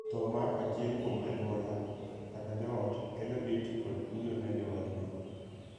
Thoo mar achiel kuom anyuala (joot) kelo lit kod kuyo ne joodno.